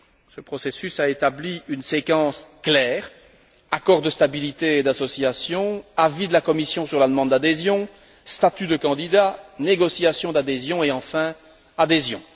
Ce processus a établi une séquence claire accord de stabilité et d'association, avis de la Commission sur la demande d'adhésion, statut de candidat, négociations d'adhésion et enfin adhésion.